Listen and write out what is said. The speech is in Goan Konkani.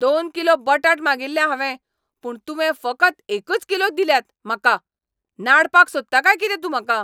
दोन किलो बटाट मागिल्ले हांवें पूण तुवें फकत एकच किलो दिल्यात म्हाका! नाडपाक सोदता काय कितें तूं म्हाका?